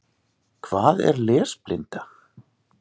Hvað er lesblinda?